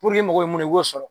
i mago bɛ mun i k'o sɔrɔ